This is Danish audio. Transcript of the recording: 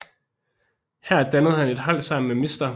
Her dannede han et hold sammen med Mr